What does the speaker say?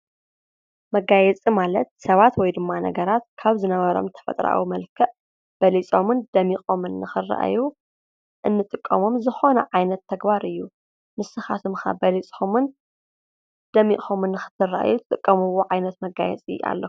መጋየጺ ማለት ሰባት ወይ ድማ ነገራት ካብ ዝነበሮም ተፈጥራዊ መልክዕ በልፆምን ደሚቆምን ንክርኣዩ እንጥቀሞም ዝኮነ ዓይነት ተግባር እዩ። ንስካትኩም ከ በሊፅኩምን ደሚቆምን ንክትርኣዩ እትጥቀምዎ ዓይነት መጋየፂ ኣለኩም ዶ?